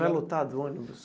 Vai lotado o ônibus?